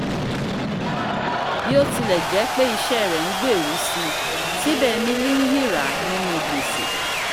bí ó ti lẹ̀ jẹ́ pẹ́ iṣẹ́ rẹ̀ ń gbèrú si síbẹ̀ emily ń yíràá ní nú gbèsè